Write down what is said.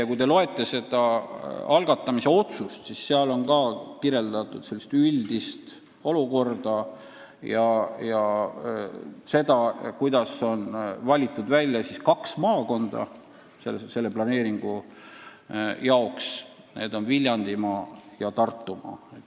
Ja kui te loete seda algatamise otsust, siis seal on ka kirjeldatud üldist olukorda, seda, miks on selle planeeringu jaoks valitud välja kaks maakonda: Viljandimaa ja Tartumaa.